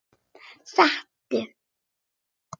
Sestu